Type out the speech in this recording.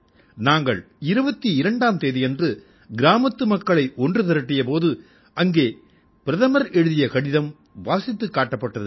நாங்கள் 22ஆம் தேதியன்று கிராமத்து மக்களை ஒன்று திரட்டிய போது அங்கே பிரதமர் எழுதிய கடிதம் வாசித்துக் காட்டப்பட்டது